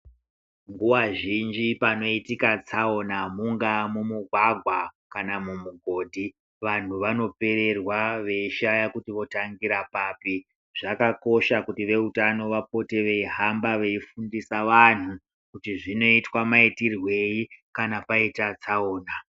Nguva zhinji panoitika tsaona mungaa mumugwagwa kana mumugodhi vantu vanopererwa veishaya kuti votangira papi. Zvakakosha kuti vehutano vapote veihamba veifundisa vanhu kuti zvinoitwa maitirwei kana paita tsaona.